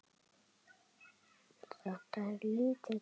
Þetta er lítill heimur!